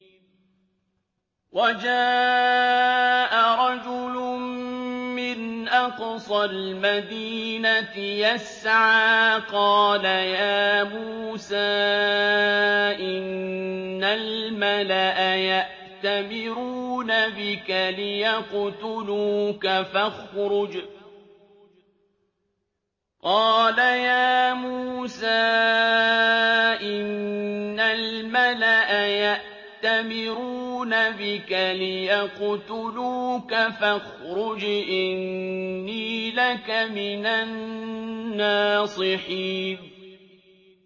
وَجَاءَ رَجُلٌ مِّنْ أَقْصَى الْمَدِينَةِ يَسْعَىٰ قَالَ يَا مُوسَىٰ إِنَّ الْمَلَأَ يَأْتَمِرُونَ بِكَ لِيَقْتُلُوكَ فَاخْرُجْ إِنِّي لَكَ مِنَ النَّاصِحِينَ